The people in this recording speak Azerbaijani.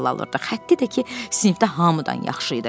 Xətti də ki, sinifdə hamıdan yaxşı idi.